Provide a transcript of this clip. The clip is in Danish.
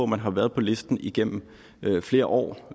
man har været på listen igennem flere år